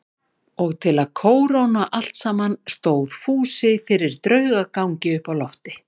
Og til að kóróna allt saman stóð Fúsi fyrir draugagangi uppi á lofti.